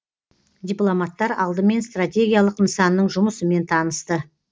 дипломаттар алдымен стратегиялық нысанның жұмысымен танысты